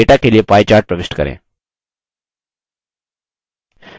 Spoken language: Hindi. data के लिए pie chart प्रविष्ट करें